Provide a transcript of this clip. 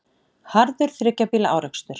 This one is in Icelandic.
Harður þriggja bíla árekstur